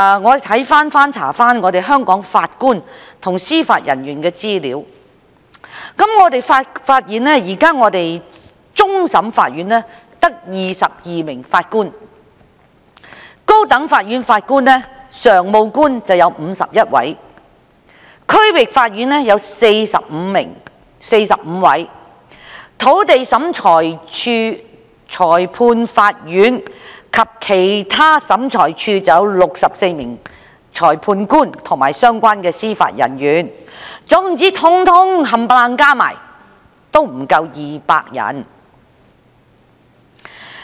我翻查香港法官和司法人員的資料，發現現時終審法院只有22位法官；高等法院有51位；區域法院有45位；土地審裁處、裁判法院及其他審裁處有64位裁判官及相關的司法人員，全部加起來不足200人。